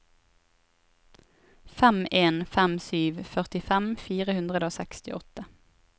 fem en fem sju førtifem fire hundre og sekstiåtte